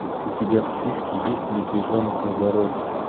у тебя в списке есть медвежонок на дороге